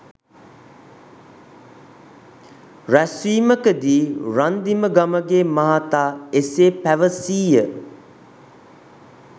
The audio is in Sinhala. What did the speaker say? රැස්වීමකදී රන්දිම ගමගේ මහතා එසේ පැවසීය.